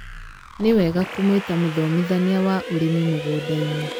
nĩ wega kũmũĩta mũthomĩthanĩa wa ũrĩmi mũgũnda-inĩ